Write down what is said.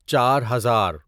چار ہزار